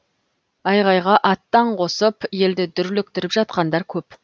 айғайға аттан қосып елді дүрліктіріп жатқандар көп